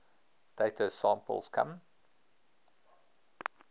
data samples come